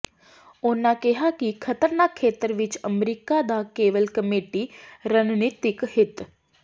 ਉਨ੍ਹਾਂ ਕਿਹਾ ਕਿ ਖਤਰਨਾਕ ਖੇਤਰ ਵਿਚ ਅਮਰੀਕਾ ਦਾ ਕੇਵਲ ਕਮੇਟੀ ਰਣਨੀਤਿਕ ਹਿੱਤ